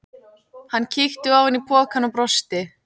Hann kíkti ofan í pokann og brosti.